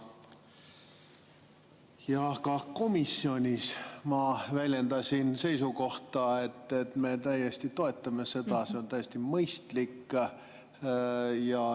Ja ka komisjonis ma väljendasin seisukohta, et me toetame seda, see on täiesti mõistlik.